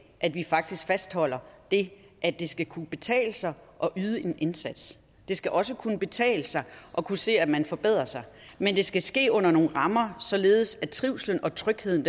at vi faktisk fastholder det at det skal kunne betale sig at yde en indsats det skal også kunne betale sig at kunne se at man forbedrer sig men det skal ske under nogle rammer således at trivslen og trygheden